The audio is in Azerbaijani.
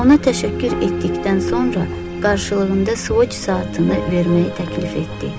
Ona təşəkkür etdikdən sonra, qarşılığında Swatch saatını verməyi təklif etdi.